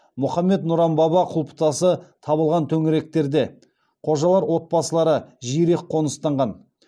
мұхаммед нұран баба құлпытасы табылған төңіректерде қожалар отбасылары жиірек қоныстанған